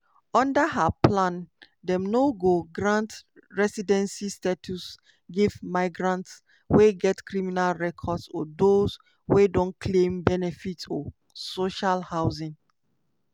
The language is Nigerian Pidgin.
under her plan dem no go grant residency status give migrants wey get criminal records or those wey don claim benefits or social housing.